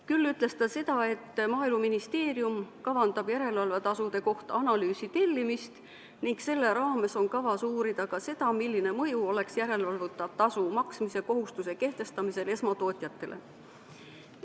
Küll ütles ta, et Maaeluministeerium kavandab järelevalvetasude kohta analüüsi tellimist ning selle raames on kavas uurida ka seda, milline mõju oleks järelevalvetasu maksmise kohustuse kehtestamisel esmatootjatele.